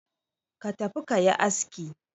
Ka tafi ka yi aski!